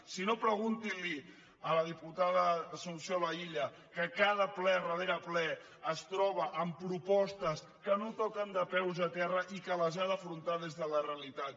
si no preguntin li ho a la diputada assumpció laïlla que cada ple darrere ple es troba amb propostes que no toquen de peus a terra i que les ha d’afrontar des de la realitat